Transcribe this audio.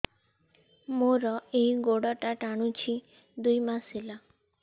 ମୋର ଏଇ ଗୋଡ଼ଟା ଟାଣୁଛି ଦୁଇ ମାସ ହେଲା